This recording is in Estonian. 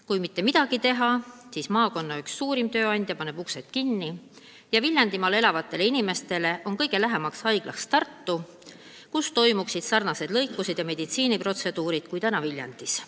Kui mitte midagi teha, siis üks maakonna suurimaid tööandjaid paneb uksed kinni ja Viljandimaal elavatele inimestele hakkab olema kõige lähem haigla Tartu oma, kus toimuksid ka samasugused lõikused ja meditsiiniprotseduurid, kui täna tehakse Viljandis.